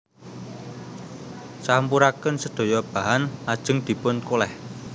Campuraken sedaya bahan lajeng dipun kolèh